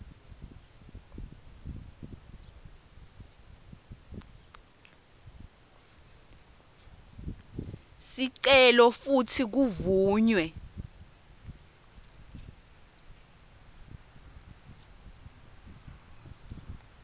sicelo futsi kuvunywe